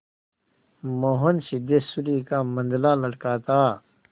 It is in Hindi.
मोहन सिद्धेश्वरी का मंझला लड़का था